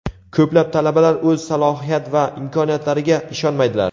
Ko‘plab talabalar o‘z salohiyat va imkoniyatlariga ishonmaydilar.